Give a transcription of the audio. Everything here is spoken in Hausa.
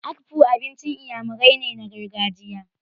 Akpu abincin Iyamurai ne na gargajiya.